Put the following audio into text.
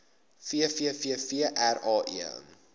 vvvvrae